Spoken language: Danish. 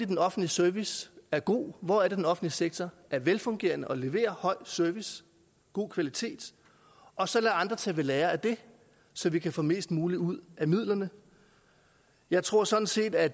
den offentlige service er god hvor den offentlige sektor er velfungerende og leverer høj service god kvalitet og så lade andre tage ved lære af det så vi kan få mest muligt ud af midlerne jeg tror sådan set at